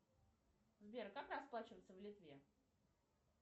сбер как расплачиваться в литве